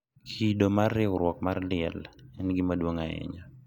Kido mar riwruok mar liel en gima duong’ ahinya,